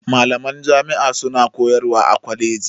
Malaman jami'a suna koyarwa a kwaleji